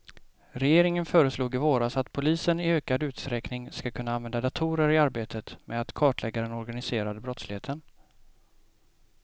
Regeringen föreslog i våras att polisen i ökad utsträckning ska kunna använda datorer i arbetet med att kartlägga den organiserade brottsligheten.